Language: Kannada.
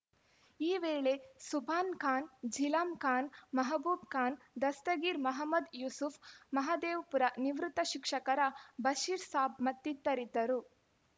ಈ ವೇಳೆ ಸುಭಾನ್‌ಖಾನ್‌ ಜಿಲಾಂಖಾನ್ ಮಹಬೂಬ್‌ಖಾನ್‌ ದಸ್ತಗೀರ್‌ ಮಹಮ್ಮದ್‌ ಯೂಸೂಫ್‌ ಮಹದೇವಪುರ ನಿವೃತ್ತ ಶಿಕ್ಷಕರ ಬಷೀರ್‌ ಸಾಬ್‌ ಮತ್ತಿತರರಿದ್ದರು